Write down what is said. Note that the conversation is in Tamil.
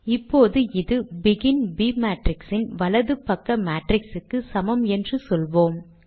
இப்போது இது பெகின் b மேட்ரிக்ஸ் இன் வலது பக்க மேட்ரிக்ஸ் க்கு சமம் என்று சொல்லுவோம்